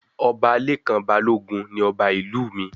Ọba Lekan Balogun ní ọba ìlú mí